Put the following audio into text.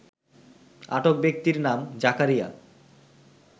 আটক ব্যক্তির নাম জাকারিয়া